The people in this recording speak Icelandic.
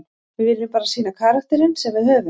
Við viljum bara sýna karakterinn sem við höfum.